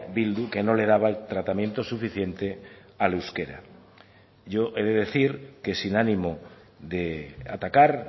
bildu que no le daba el tratamiento suficiente al euskera yo he de decir que sin ánimo de atacar